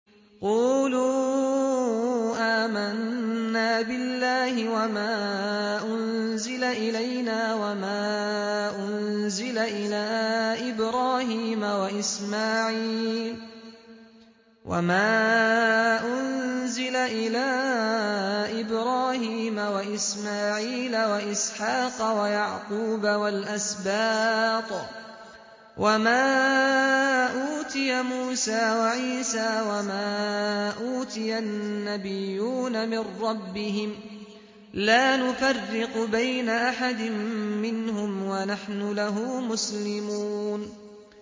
قُولُوا آمَنَّا بِاللَّهِ وَمَا أُنزِلَ إِلَيْنَا وَمَا أُنزِلَ إِلَىٰ إِبْرَاهِيمَ وَإِسْمَاعِيلَ وَإِسْحَاقَ وَيَعْقُوبَ وَالْأَسْبَاطِ وَمَا أُوتِيَ مُوسَىٰ وَعِيسَىٰ وَمَا أُوتِيَ النَّبِيُّونَ مِن رَّبِّهِمْ لَا نُفَرِّقُ بَيْنَ أَحَدٍ مِّنْهُمْ وَنَحْنُ لَهُ مُسْلِمُونَ